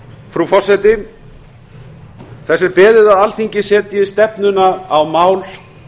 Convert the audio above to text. frú forseti þess er beðið að alþingi setji stefnuna á mál